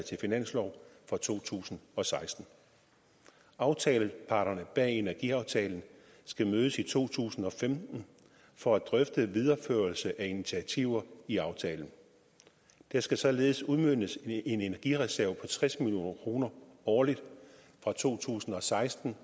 til finanslov for to tusind og seksten aftaleparterne bag energiaftalen skal mødes i to tusind og femten for at drøfte videreførelse af initiativer i aftalen der skal således udmøntes en energireserve på tres million kroner årligt fra to tusind og seksten